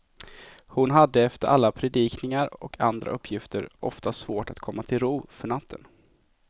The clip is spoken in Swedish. Hon hade efter alla predikningar och andra uppgifter ofta svårt att komma till ro för natten.